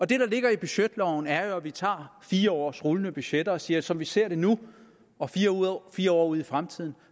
det der ligger i budgetloven er at vi tager fire års rullende budgetter og siger at som vi ser det nu og fire år ud i fremtiden